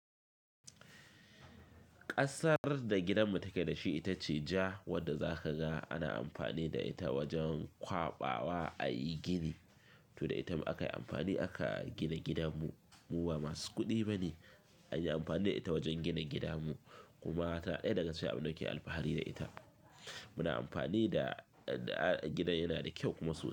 Ƙasar da gidanmu take dashi ita ce ja wanda zaka ga ana amfani da ita wajen kwaɓawa a yi gini. To da ita aka yi amfani aka gina gidanmu. Mu ba masu kuɗi ba ne, anyi amfani da ita wajen gina gidanmu kuma ta ɗaya daga cikin abin da muke alfahari da ita. Muna amfani da, da gidan yana da kyau kuma sosai.